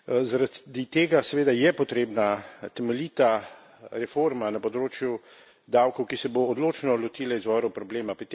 Zaradi tega seveda je potrebna temeljita reforma na področju davkov, ki se bo odločno lotila izvora problema.